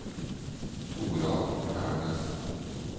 Toralf Hernes